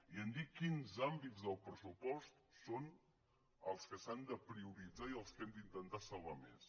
i hem dit quins àmbits del pressupost són els que s’han de prioritzar i els que hem d’intentar salvar més